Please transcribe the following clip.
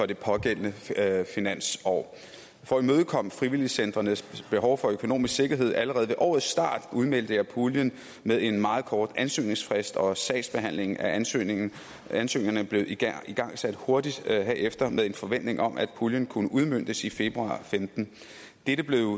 det pågældende finansår for at imødekomme frivilligcentrenes behov for økonomisk sikkerhed allerede ved årets start udmeldte jeg puljen med en meget kort ansøgningsfrist og sagsbehandlingen af ansøgningerne ansøgningerne blev igangsat hurtigt herefter med en forventning om at puljen kunne udmøntes i februar to og femten dette